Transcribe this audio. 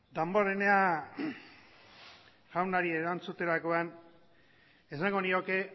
damborenea jaunari erantzuterakoan esango nioke